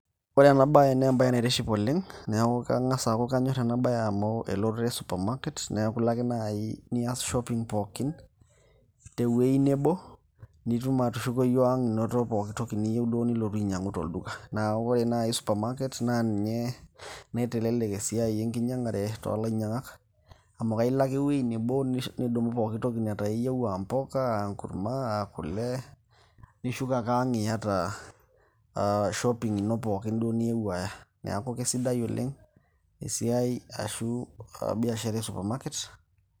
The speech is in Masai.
ore ena baye naa embaye naitiship oleng neeku kang'as aaku kanyorr ena baye oleng amu elototo e supermarket neeku ilo ake naaji nias shopping pookin tewueji nebo nitum atushukoyu ang inoto pokitoki niyieu duo nilotu ainyiang'u tolduka naaku ore naaji supermarket naa ninye naitelelek esiai enkinyiang'are toolainyiang'ak amu kailo ake ewueji nebo nidumu pokitoki netaa iyieu aa mpuka aa enkurma aa kule nishuko ake ang iyata shopping ino pookin duo niyewuo aaya neeku kesidai oleng esiai ashu biashara e supermarket.